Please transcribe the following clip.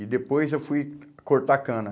E depois eu fui cortar a cana.